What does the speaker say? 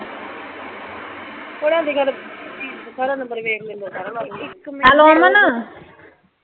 ਸਾਰਾ ਨੰਬਰ ਵੇਖ ਕੇ . ਹੈਲੋ ਅਮਨ?